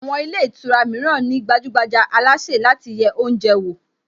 Àwọn ilé ìtura mìíràn ní gbajúgbajà alásè láti yẹ oúnjẹ wò